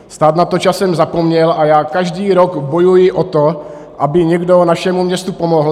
Stát na to časem zapomněl a já každý rok bojuji o to, aby někdo našemu městu pomohl.